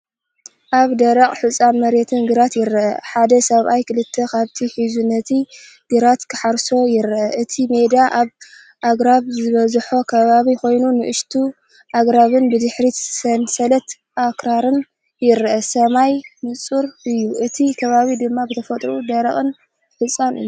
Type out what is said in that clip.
ኣብ ደረቕን ሑጻን መሬት ግራት ይርአ። ሓደ ሰብኣይ ክልተ ከብቲ ሒዙ ነቲ ግራት ክሓርስ ይርአ። እቲ ሜዳ ኣብ ኣኽራን ዝበዝሖ ከባቢ ኮይኑ፡ንኣሽቱ ኣግራብን ብድሕሪት ሰንሰለት ኣኽራንን ይርአ። ሰማይ ንጹር እዩ፣ እቲ ከባቢ ድማ ብተፈጥሮኡ ደረቕን ሑጻን እዩ።